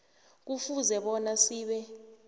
kufuze bona sibe